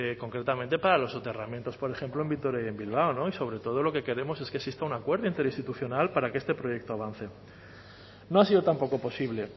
concretamente para los soterramientos por ejemplo en vitoria y en bilbao no y sobre todo lo que queremos es que exista un acuerdo interinstitucional para que este proyecto avance no ha sido tampoco posible